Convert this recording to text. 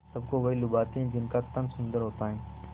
सबको वही लुभाते हैं जिनका तन सुंदर होता है